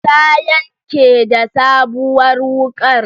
Ta yanke da sabuwar wuƙar